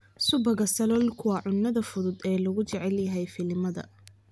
Subagga saloolku waa cunnada fudud ee loogu jecel yahay filimada.